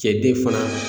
Cɛ den fana